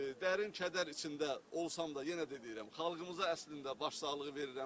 Dərin kədər içində olsam da, yenə də deyirəm, xalqımıza əslində başsağlığı verirəm.